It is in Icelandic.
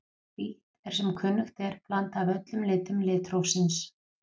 Hvítt er sem kunnugt er blanda af öllum litum litrófsins.